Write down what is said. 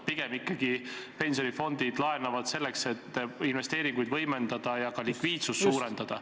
Pigem ikkagi pensionifondid laenavad selleks, et investeeringuid võimendada ja ka likviidsust suurendada.